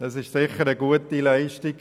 Das ist sicher eine gute Leistung.